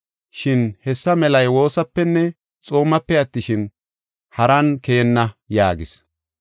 [Shin hessa melay woosapenne xoomape attishin, haran keyenna”] yaagis.